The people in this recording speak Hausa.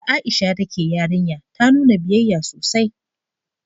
Da Aisha ta ke yarinya, ta nuna biyayya sosai